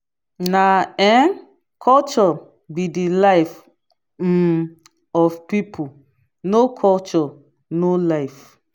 na um culture be de life um of people no culture no life.